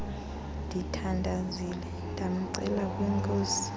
ndithandazile ndamcela kwinkosi